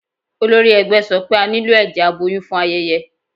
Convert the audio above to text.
Olórí ẹgbẹ́ sọ pé a nílò ẹ̀jẹ̀ aboyún fún ayẹyẹ